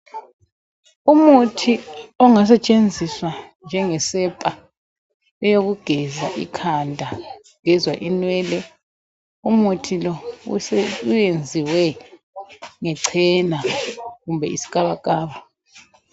Umuthi ongasetshenziswa njengesepa eyokugeza ikhanda geza inwele umuthi lo uwenziwe ngechena kumbe isikabakaba